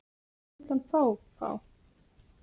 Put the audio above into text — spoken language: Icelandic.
Hvað vill hann fá, fá?